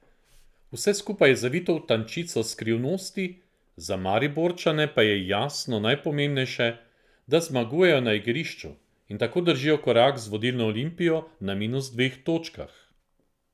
Vse skupaj je zavito v tančico skrivnosti, za Mariborčane pa je, jasno, najpomembnejše, da zmagujejo na igrišču in tako držijo korak z vodilno Olimpijo na minus dveh točkah.